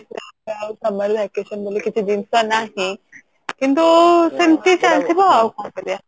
ଆଉ summer vacation ବୋଲି କିଛି ଜିନିଷ ନାହିଁ କିନ୍ତୁ ସେତିକି ଚାଲିଥିବ ଆଉ କଣ କରିଆ